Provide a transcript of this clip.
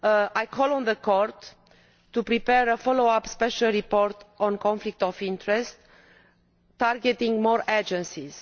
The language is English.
I call on the Court to prepare a follow up special report on conflict of interest, targeting more agencies.